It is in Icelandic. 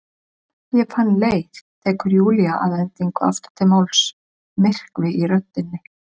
Ég fann leið, tekur Júlía að endingu aftur til máls, myrkvi í röddinni.